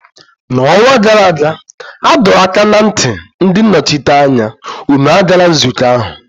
N'ọnwa gara aga, adọ m aka ná ntị ndị nnọchiteanya, unu agala nzukọ ahụ!